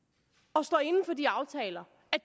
og står inde for de aftaler